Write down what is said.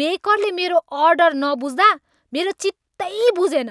बेकरले मेरो अर्डर नबुझ्दा मेरो चित्तै बुझेन।